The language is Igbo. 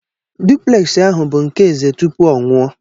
Dupleksi ahụ bụbụ nke eze tupu ọ nwụọ.